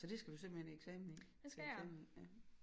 Så det skal du simpelthen i eksamen i til eksamen i ja